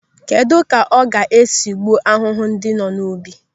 Kedụ ka ọ ga-esi gbuo ahụhụ ndị nọ n'ubi?